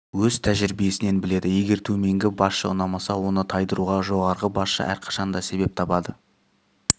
өз тәжірибесінен біледі егер төменгі басшы ұнамаса оны тайдыруға жоғарғы басшы әрқашан да себеп табады